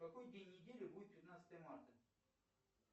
какой день недели будет пятнадцатое марта